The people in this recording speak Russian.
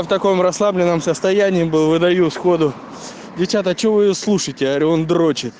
в таком расслабленном состоянии был выдают сходу девчята что вы его слушаете он дрочит